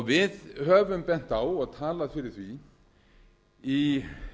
við höfum bent á og talað fyrir því í